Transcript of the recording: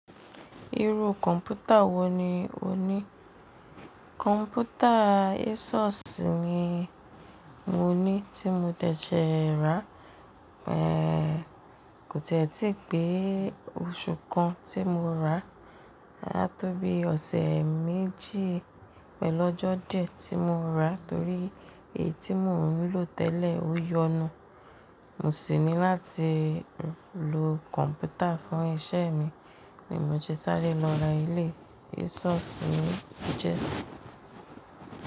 Irú kọ̀ǹpútà wo ni o ní? Kọ̀ǹpútà Asus ni mo ní tí mo tẹ̀ẹ́ ṣẹ rà, ẹ́ kò tẹ́ẹ́ tí pè oṣù kan tí mo rà, á tó bí ọ̀sẹ̀ méjì pẹ̀lú ọjọ́ díẹ̀ tí mo rà torí èyí tí mò ń lò tẹ́lẹ̀ ó yọnu. Mo sì ní láti lo kọ̀ǹpútà fún iṣẹ́ mi, ni mo ti sáré lọ ra eléyi Asus ni ó jẹ́